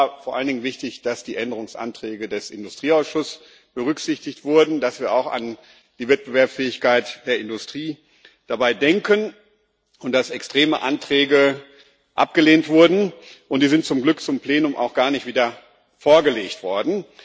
Uns war vor allem wichtig, dass die Änderungsanträge des Industrieausschuss es berücksichtigt wurden, dass wir dabei auch an die Wettbewerbsfähigkeit der Industrie denken und dass extreme Anträge abgelehnt wurden, und die sind zum Glück auch gar nicht wieder im Plenum vorgelegt worden.